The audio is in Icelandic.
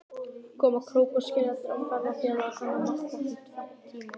Koma krókskeljarinnar og ferðafélaga hennar markar því tvenn tímamót.